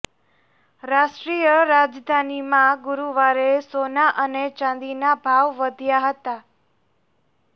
રાષ્ટ્રીય રાજધાનીમાં ગુરુવારે સોના અને ચાંદીના ભાવ વધ્યા હતા